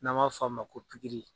N'an m'a f'a ma ko pikiri.